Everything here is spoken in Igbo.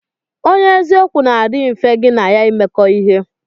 Onye eziokwu na adi mfe gi n'ya imekọ ihe.